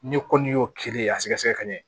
N'i ko n'i y'o kilen a sɛgɛsɛgɛ ka ɲɛ